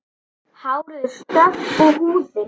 Hárið er stökkt og húðin.